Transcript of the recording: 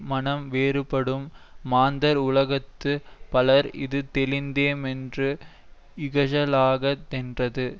மனம் வேறுபடும் மாந்தர் உலகத்து பலர் இது தெளிந்தே மென்று இகழலாகாதென்றது